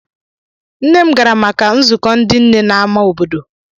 Nne m gara maka nzukọ ndị nne n'ámá obodo.